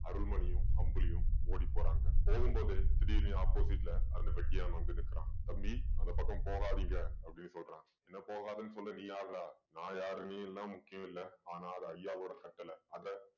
அருள்மணியும் அம்புலியும் ஓடிப்போறாங்க போகும்போது திடீர்ன்னு opposite ல அந்த வெட்டியான் வந்து நிற்கிறான் தம்பி அந்தப் பக்கம் போகாதீங்க அப்படின்னு சொல்றான் என்ன போகாதேன்னு சொல்ல நீ யாருடா நான் யாரு நீ எல்லாம் முக்கியம் இல்ல ஆனா அது ஐயாவோட கட்டளை அத